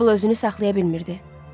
Meybel özünü saxlaya bilmirdi.